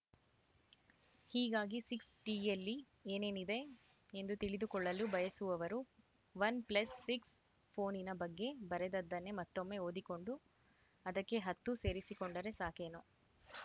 ಹೀಗಾಗಿ ಸಿಕ್ಸ್‌ಟಿಯಲ್ಲಿ ಏನೇನಿದೆ ಎಂದು ತಿಳಿದುಕೊಳ್ಳಲು ಬಯಸುವವರು ವನ್‌ ಪ್ಲಸ್‌ ಸಿಕ್ಸ್‌ ಫೋನಿನ ಬಗ್ಗೆ ಬರೆದದ್ದನ್ನೇ ಮತ್ತೊಮ್ಮೆ ಓದಿಕೊಂಡು ಅದಕ್ಕೆ ಹತ್ತು ಸೇರಿಸಿಕೊಂಡರೆ ಸಾಕೇನೋ